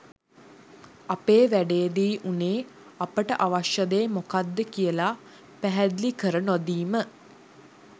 ඇපේ වැඩේදි වුනේ අපිට අවශ්‍ය දේ මොකද්ද කියලා පැහැදිලි කර නොදීම.